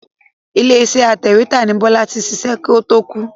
Ilé iṣẹ́ atẹ̀wétà ni Bọ́lá ti ṣiṣẹ́ kó to kú.